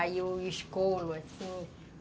Aí eu escolo assim.